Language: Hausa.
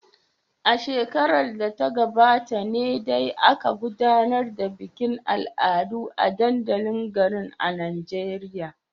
A shekarar da ta gabata ne dai aka gudanar da bikin al'adu a dandalin garin a Najeriya.